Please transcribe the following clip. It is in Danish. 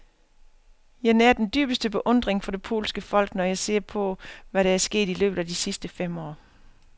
Jeg nærer den dybeste beundring for det polske folk, når jeg ser på, hvad der er sket i løbet af de sidste fem år.